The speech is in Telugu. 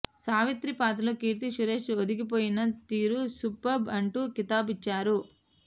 సావిత్రి పాత్రలో కీర్తి సురేష్ ఒదిగిపోయిన తీరు సూపర్బ్ అంటూ కితాబిచ్చారు